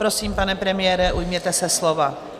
Prosím, pane premiére, ujměte se slova.